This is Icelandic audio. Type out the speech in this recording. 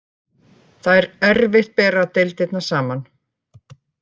Það er erfitt bera deildirnar saman.